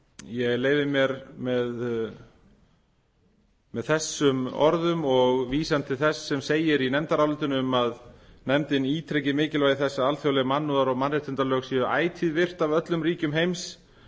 ég leyfi mér með þessum orðum og vísan til þess sem segir í nefndarálitinu um að nefndin ítreki mikilvægi þess að alþjóðleg mannúðar og mannréttindalög séu ætíð virt af öllum ríkjum heims